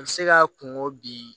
A bɛ se ka kungo bin